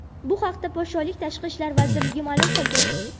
Bu haqda podshohlik Tashqi ishlar vazirligi ma’lum qildi .